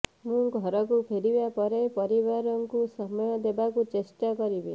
ମୁଁ ଘରକୁ ଫେରିବା ପରେ ପରିବାରକୁ ସମୟ ଦେବାକୁ ଚେଷ୍ଟା କରିବି